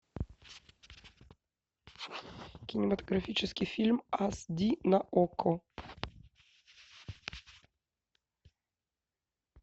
кинематографический фильм ас ди на окко